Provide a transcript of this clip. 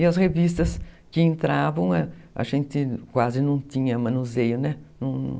E as revistas que entravam, a gente quase não tinha manuseio, né?